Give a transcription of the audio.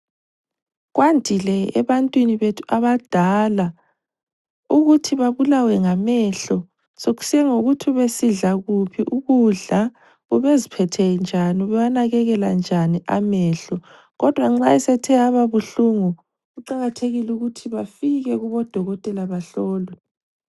Kwandile ebantwini bethu abadala ukuthi babulawe ngamehlo, sekusiya ngokuthi ubesidla kuphi ukudla , ubeziphethe njani ubewanakelela njani amehlo, kodwa nxa esethe aba buhlungu kuqakathekile ukuthi bafike kubo dokotela bahlolwe